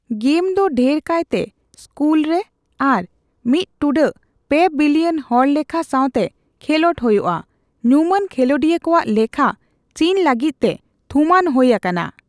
Game ᱫᱚ ᱰᱷᱮᱨ ᱠᱟᱭᱛᱮ ᱥᱠᱩᱞᱨᱮ ᱟᱨ ᱢᱤᱛ ᱴᱩᱰᱟᱹᱜ ᱯᱮ ᱵᱤᱞᱤᱭᱚᱱ ᱦᱚᱲᱞᱮᱠᱷᱟ ᱥᱟᱣᱛᱮ ᱠᱷᱮᱞᱳᱰ ᱦᱳᱭᱳᱜᱼᱟ; ᱧᱩᱢᱟᱱ ᱠᱷᱮᱹᱞᱳᱰᱤᱭᱟᱹ ᱠᱚᱣᱟᱜ ᱞᱮᱠᱷᱟ ᱪᱤᱱ ᱞᱟᱹᱜᱤᱫᱛᱮ ᱛᱷᱩᱢᱟᱱ ᱦᱳᱭ ᱟᱠᱟᱱᱟ ᱾